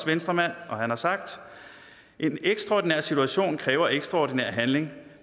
venstremand og han har sagt en ekstraordinær situation kræver ekstraordinær handling